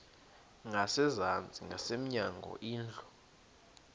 ngasezantsi ngasemnyango indlu